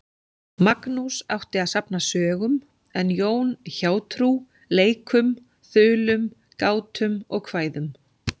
Magnús átti að safna sögum en Jón hjátrú, leikum, þulum, gátum og kvæðum.